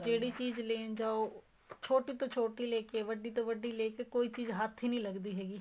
ਜਿਹੜੀ ਚੀਜ਼ ਲੈਣ ਜਾਹੋ ਛੋਟੀ ਤੋ ਛੋਟੀ ਲੈਣ ਲੈਕੇ ਵੱਡੀ ਤੋ ਵੱਡੀ ਲੈਕੇ ਕੋਈ ਚੀਜ਼ ਹੱਥ ਹੀ ਨਹੀਂ ਲੱਗਦੀ ਹੈਗੀ